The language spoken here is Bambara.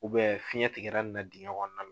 fiyɛn tigɛra nin na digɛn ɲɔgɔn na.